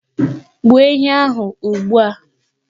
Gbuo ehi ahụ ugbu a!